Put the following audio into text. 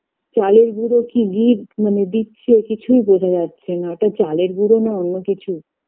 চালের গুঁড়ো কী দী মানে দিচ্ছে কিছুই বোঝা যাচ্ছেনা ওটা চালের গুঁড়ো না অন্য কিছু